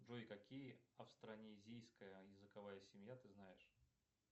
джой какие австронезийская языковая семья ты знаешь